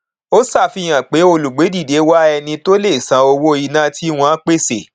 ó ṣàfihàn pé olùgbédìde wá ẹni tó lè san owó iná tí wọn pèsè